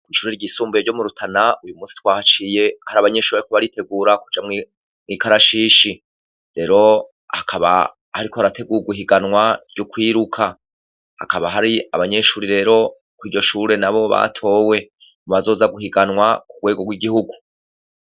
Ishure ryisumbuye ryo murutana uyumusi twahaciye hari abanyeshure bariko baritegura kuja mwikarashishi rero hakaba hariko harategurwa ihiganwa ryokwiruka hakaba hari abanyeshure rero kwiryoshure batowe bazoza guhiganwa kurwego rwigihugu